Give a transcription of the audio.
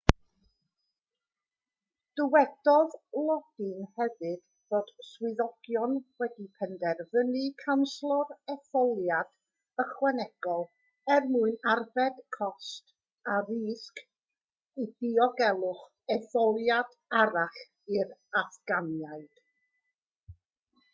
dywedodd lodin hefyd fod swyddogion wedi penderfynu canslo'r etholiad ychwanegol er mwyn arbed cost a risg diogelwch etholiad arall i'r affganiaid